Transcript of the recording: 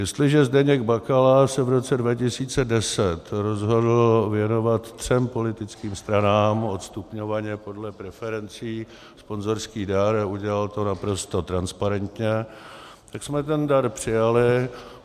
Jestliže Zdeněk Bakala se v roce 2010 rozhodl věnovat třem politickým stranám odstupňovaně podle preferencí sponzorský dar, udělal to naprosto transparentně, tak jsme ten dar přijali.